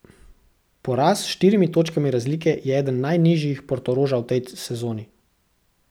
Poraz s štirimi točkami razlike je eden najnižjih Portoroža v tej sezoni.